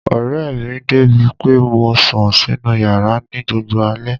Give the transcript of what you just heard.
Ó rẹ̀ mi débi pé mo sùn sínu yàrá ní gbogbo alé.